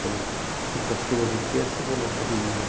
Quando quintas-feiras e terça eu vou na academia.